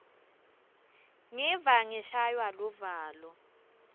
ngiva ngishaywa luvalo